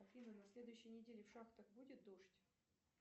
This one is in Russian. афина на следующей неделе в шахтах будет дождь